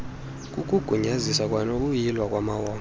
kukugunyaziswa kwanokuyilwa kwamawonga